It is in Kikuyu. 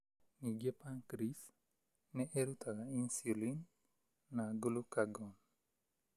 Ningĩ pancreas nĩ ĩrutaga insulin na glucagon.